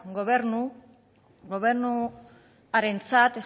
gobernuarentzat